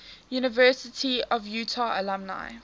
university of utah alumni